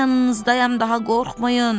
Mən yanınızdayam, daha qorxmayın.